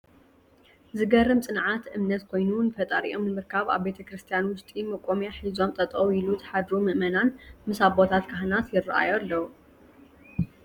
ዝገርም ፅንዓት ! እምነት ኮይኑ ንፈጣሪኦም ንምርካብ ኣብ ቤተ-ክርስትያን ውሽጢ መቆምያ ሒዞም ጠጠው ኢሎ ዝሓድሩምእመናን ምስ ኣቦታት ካህናት ይረኣዩ ኣለው።